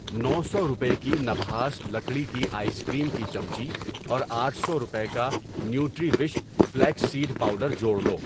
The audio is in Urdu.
نو سو روپے کی نبھاس لکڑی کی آئس کریم کی چمچی اور آٹھ روپے کا Nutrivish flaxseed powder جوڑ لو۔